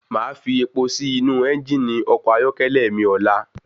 Máa fi epo sí inú ẹ́ngìnì ọkọ̀ ayọ́kẹ́lẹ́ mi ọlá.